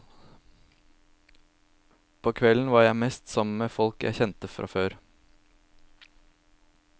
På kveldene var jeg mest sammen med folk jeg kjente fra før.